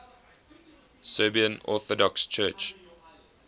serbian orthodox church